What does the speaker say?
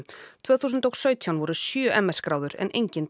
tvö þúsund og sautján voru sjö m s gráður en engin